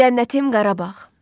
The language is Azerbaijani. Cənnətim Qarabağ,